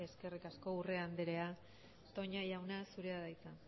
eskerrik asko urrea anderea toña jauna zurea da hitza